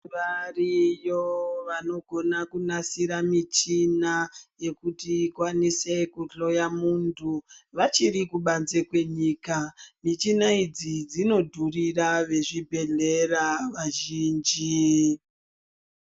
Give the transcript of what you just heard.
Variyo vanokona kunasira michina yekuti ikwanise kuhloya munthu vachiri kubanze kwenyika michina idzi dzino dhurira vezvibhedhleya vazhinji.